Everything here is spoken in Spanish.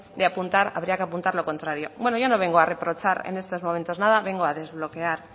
de apuntar habría que apuntar lo contrario bueno yo no vengo a reprochar en estos momentos nada vengo a desbloquear